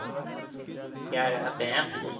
કયારે આપે એમ